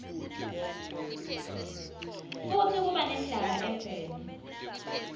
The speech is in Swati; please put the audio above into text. futsi kuba nendlala eveni